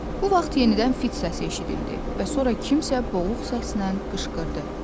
Bu vaxt yenidən fit səsi eşidildi və sonra kimsə boğuq səsnən qışqırdı.